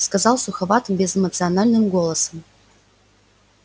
сказал суховатым безэмоциональным голосом